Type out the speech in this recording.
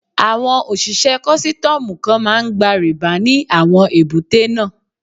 Àwọn òṣìṣẹ́ kọ́sítọ́mù kan máa ń gba rìbá ní àwọn èbúté náà.